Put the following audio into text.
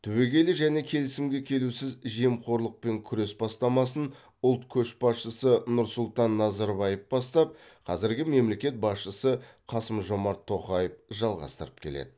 түбегейлі және келісімге келусіз жемқорлықпен күрес бастамасын ұлт көшбасшысы нұрсұлтан назарбаев бастап қазіргі мемлекет басшысы қасым жомарт тоқаев жалғастырып келеді